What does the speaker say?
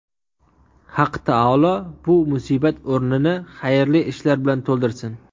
Haq taolo bu musibat o‘rnini xayrli ishlar bilan to‘ldirsin.